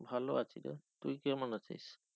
ভালো আছি রে, তুই কেমন আছিস?